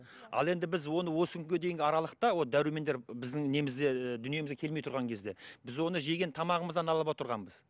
ал енді біз оны осы күнге дейінгі аралықта вот дәрумендер біздің немізде ііі дүниемізге келмей тұрған кезде біз оны жеген тамағымыздан алып отырғанбыз